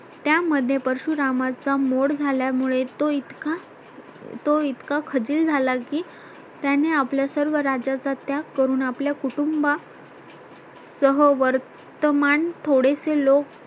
त्यामध्ये परशुरामाचा मोड झाल्यामुळे तो इतका तो इतका खचील झाला की त्याने आपल्या सर्व राज्याचा त्याग करून आपल्या कुटुंबा सह वर्तमान थोडेसे लोक